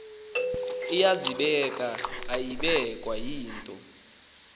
iyazibeka ayibekwa yinto